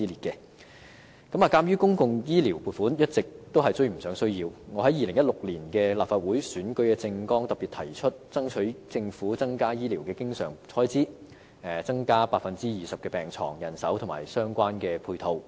鑒於公共醫療撥款一直追不上需要，我在2016年立法會的選舉政綱特別提出爭取政府增加醫療經常開支，包括增加 20% 的病床、人手和相關配套。